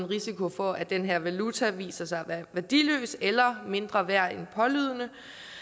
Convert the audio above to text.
risiko for at den her valuta viser sig at være værdiløs eller mindre værd end pålydende